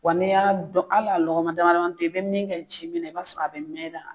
Wa ne y'a dɔn hali a lɔgɔma dama dam tɔ i bɛ min kɛ ji minɛ na i b'a sɔrɔ a bɛ mɛn la.